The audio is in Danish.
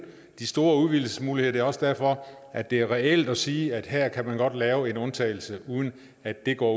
de store udvidelsesmuligheder det er også derfor at det er reelt at sige at her kan man godt lave en undtagelse uden at det går